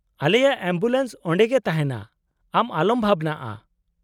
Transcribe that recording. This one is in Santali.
ᱼᱟᱞᱮᱭᱟᱜ ᱮᱢᱵᱩᱞᱮᱱᱥ ᱚᱸᱰᱮᱜᱮ ᱛᱟᱦᱮᱱᱟ, ᱟᱢ ᱟᱞᱚᱢ ᱵᱷᱟᱵᱱᱟᱜᱼᱟ ᱾